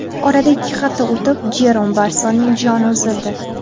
Oradan ikki hafta o‘tib Jerom Barsonning joni uzildi.